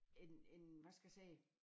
En en hvad skal jeg sige